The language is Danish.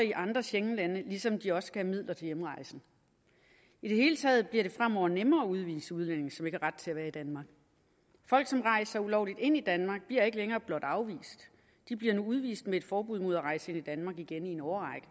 i andre schengenlande ligesom de også skal have midler til hjemrejsen i det hele taget bliver det fremover nemmere at udvise udlændinge som ikke har ret til at være i danmark folk som rejser ulovligt ind i danmark bliver ikke længere blot afvist de bliver nu udvist med et forbud mod at rejse ind i danmark igen i en årrække